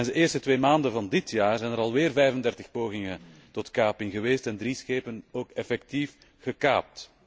Tijdens de eerste twee maanden van dit jaar zijn er alweer 35 pogingen tot kaping geweest en zijn drie schepen ook effectief gekaapt.